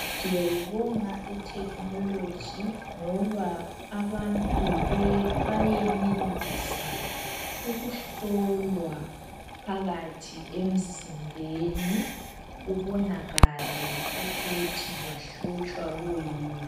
Siyayibonga ithekhinoloji ngoba abantu bayenelisa ukuhlolwa phakathi emzimbeni kubonakale ukuthi bahlutshwa kuyini.